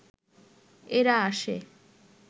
এরা আসে